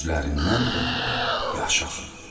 Gözlərindən də yaş axırdı.